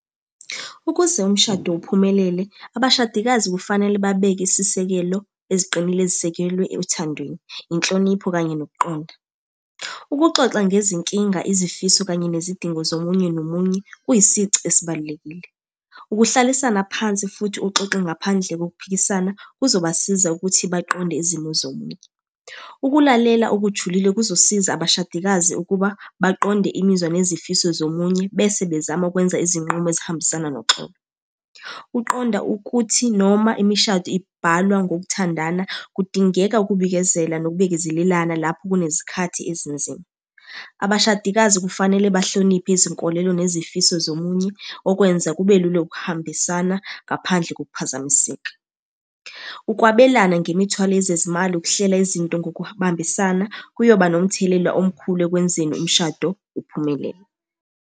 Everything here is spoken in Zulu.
Ukuze umshado uphumelele, abashadikazi kufanele babeke isisekelo eziqinile ezisekelwe othandweni, inhlonipho, kanye nokuqonda. Ukuxoxa ngezinkinga, izifiso, kanye nezidingo zomunye nomunye kuyisici esibalulekile. Ukuhlalisana phansi, futhi uxoxe ngaphandle kokuphikisana, kuzobasiza ukuthi baqonde izimo zomunye. Ukulalela okujulile kuzosiza abashadikazi ukuba baqonde imizwa nezifiso zomunye bese bezama ukwenza izinqumo ezihambisana noxolo. Uqonda ukuthi noma imishado ibhalwa ngokuthandana, kudingeka ukubikezela nokubekezelelana lapho kunezikhathi ezinzima. Abashadikazi kufanele bahloniphe izinkolelo nezifiso zomunye, okwenza kube lula ukuhambisana ngaphandle kokuphazamiseka. Ukwabelana ngemithwalo yezezimali, ukuhlela izinto ngokubambisana, kuyoba nomthelela omkhulu ekwenzeni umshado uphumelele.